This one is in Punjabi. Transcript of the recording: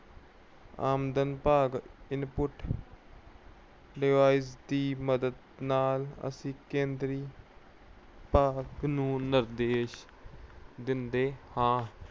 ਆਮਦ ਭਾਗ input device ਦੀ ਮਦਦ ਨਾਲ ਅਸੀਂ ਕੇਂਦਰੀ ਭਾਗ ਨੂੰ ਨਿਰਦੇਸ਼ ਦਿੰਦੇ ਹਾਂ।